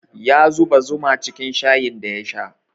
Ya zuba zuma cikin shayin da ya sha